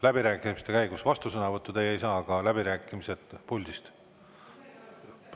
Läbirääkimiste käigus te vastusõnavõttu ei saa, aga läbirääkimised puldist.